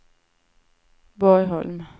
Borgholm